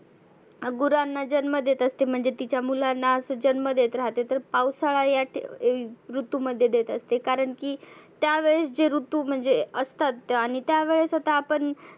गुरांना जन्म देत असते. म्हणजे तीच्या मुलांना असं जन्म देत राहते. तर पावसाळा या ऋतूमध्ये देत असते कारण की त्यावेळेस जे ऋतू म्हणजे असतात आणि त्या वेळेस आता आपण